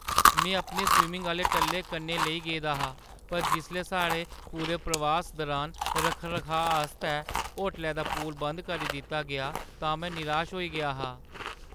में अपने स्विमिङ आह्‌ले टल्ले कन्नै लेई गेदा हा पर जिसलै साढ़े पूरे प्रवास दरान रक्ख-रखाऽ आस्तै होटलै दा पूल बंद करी दित्ता गेआ तां मैं निराश होई गेआ हा।